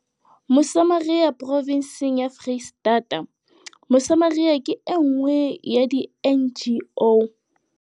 Mosamaria Provenseng ya FreistataMosamaria ke e nngwe ya di-NGO